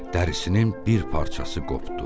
Dərisinin bir parçası qopdu.